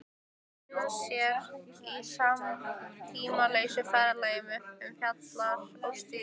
Týna sér á tímalausa ferðalagi um fjalir og stiga.